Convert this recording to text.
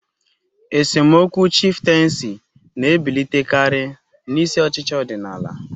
Esemokwu chifteensi na-ebilitekari n'isi ochichi odinala.